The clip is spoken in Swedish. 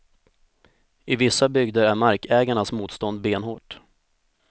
I vissa bygder är markägarnas motstånd benhårt.